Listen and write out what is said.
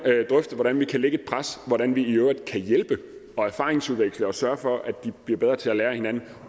drøfte hvordan vi kan lægge et pres og hvordan vi i øvrigt kan hjælpe og erfaringsudveksle og sørge for at de bliver bedre til at lære af hinanden